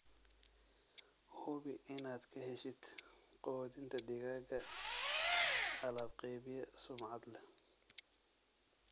Hubi inaad ka heshid quudinta digaaga alaab-qeybiye sumcad leh.